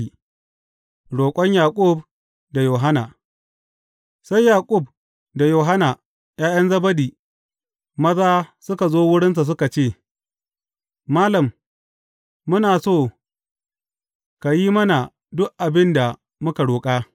Roƙon Yaƙub da Yohanna Sai Yaƙub da Yohanna, ’ya’yan Zebedi maza suka zo wurinsa suka ce, Malam, muna so ka yi mana duk abin da muka roƙa.